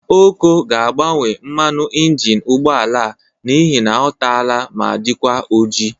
Okoko ga-agbanwe mmanụ ịnjịnị ụgbọala a n'ihi ọ tala ma dịkwa ojii.